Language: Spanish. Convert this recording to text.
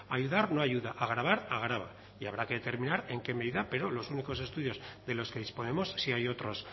ayudar no ayuda agravar agrava y habrá que determinar en qué medida pero los únicos estudios de los que disponemos si hay otros